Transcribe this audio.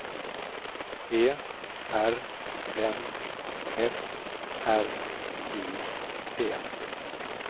E R N F R I D